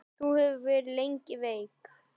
Þú hefur verið lengi veik.